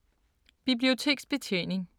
Biblioteksbetjening